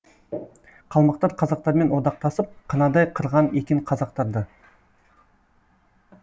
қалмақтар қазақтармен одақтасып қынадай қырған екен қазақтарды